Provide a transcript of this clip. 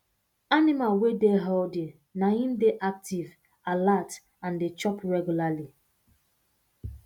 animal wey dey healthy na im dey active alert and dey chop regularly